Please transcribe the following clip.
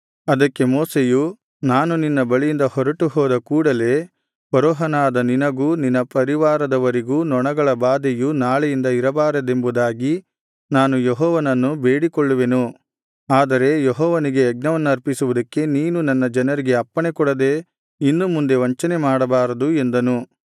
ಅದಕ್ಕೆ ಮೋಶೆಯು ನಾನು ನಿನ್ನ ಬಳಿಯಿಂದ ಹೊರಟು ಹೋದ ಕೂಡಲೇ ಫರೋಹನಾದ ನಿನಗೂ ನಿನ್ನ ಪರಿವಾರದವರಿಗೂ ನೊಣಗಳ ಬಾಧೆಯು ನಾಳೆಯಿಂದ ಇರಬಾರದೆಂಬುದಾಗಿ ನಾನು ಯೆಹೋವನನ್ನು ಬೇಡಿಕೊಳ್ಳುವೆನು ಆದರೆ ಯೆಹೋವನಿಗೆ ಯಜ್ಞವನ್ನರ್ಪಿಸುವುದಕ್ಕೆ ನೀನು ನನ್ನ ಜನರಿಗೆ ಅಪ್ಪಣೆಕೊಡದೆ ಇನ್ನು ಮುಂದೆ ವಂಚನೆಮಾಡಬಾರದು ಎಂದನು